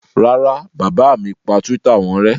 Rárá, bàbá mi pa Twitter wọn rẹ́.